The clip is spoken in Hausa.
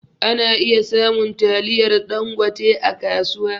Ana iya samun taliyar ɗangote a kasuwa